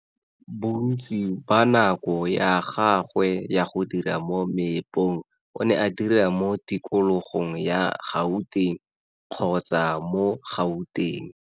Bontsi ba nako ya gagwe ya go dira mo meepong o ne a dira mo tikologong ya Gauteng kgotsa mo Gauteng.